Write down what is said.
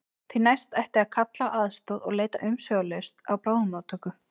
Því næst ætti að kalla á aðstoð og leita umsvifalaust á bráðamóttöku.